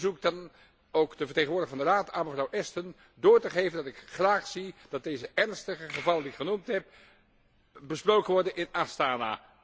Ik verzoek dan ook de vertegenwoordiger van de Raad aan mevrouw Ashton door te geven dat ik graag zie dat deze ernstige gevallen die ik genoemd heb, besproken worden in Astana.